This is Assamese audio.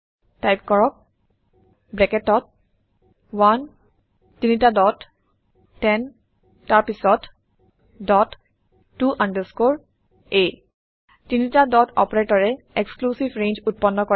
টাইপ কৰক ব্ৰেকেটত 1 তিনিটা ডট 10 তাৰপিছত ডট ত আণ্ডাৰস্কৰে a তিনিটা ডট অপাৰেটৰে এক্সক্লুচিভ ৰেঞ্জ উত্পন্ন কৰে